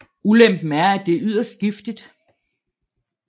Ulempen er at det er yderst giftigt